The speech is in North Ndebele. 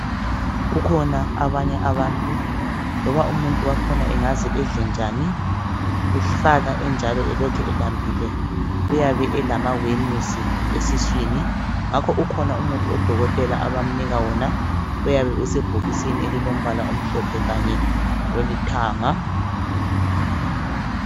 Kukhona abanye abantu loba umuntu wakhona angaze edle njani usala enjalo elokhu elambile uyabe elamawemusi esiswini ngakho ukhona umuthi odokotela abamnika wona oyabe usebhokisini elilombala omhlophe kanye lolithanga.